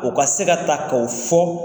U ka se ka ta k'o fɔ.